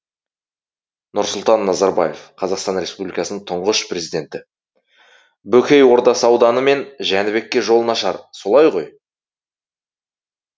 нұрсұлтан назарбаев қр тұңғыш президенті бөкей ордасы ауданы мен жәнібекке жол нашар солай ғой